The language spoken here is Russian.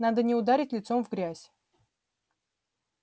надо не ударить лицом в грязь